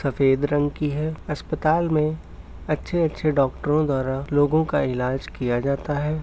सफ़ेद रंग की है अस्पताल में अच्छे-अच्छे डॉक्टरों द्वारा लोगों का इलाज किया जाता है।